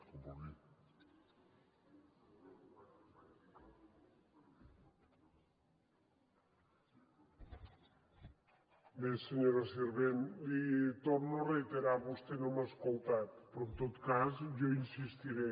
bé senyora sirvent l’hi torno a reiterar vostè no m’ha escoltat però en tot cas jo insistiré